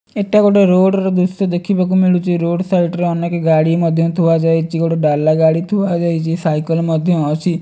ଏଟା ଗୋଟେ ରୋଡ଼ ର ଦୃଶ୍ୟ ଦେଖିବାକୁ ମୁଳୁଛି ରୋଡ଼ ସାଇଟ ରେ ଅନେକ ଗାଡି ମଧ୍ୟ ଥୁଆ ଯାଇଛି ଗୋଟେ ଡାଲା ଗାଡି ଥୁଆ ଯାଇଚି ସାଇକେଲ ମଧ୍ୟ ଅଛି।